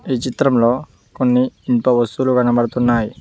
ఈ చిత్రంలో కొన్ని ఇనుప వస్తువులు కనపడుతున్నాయి.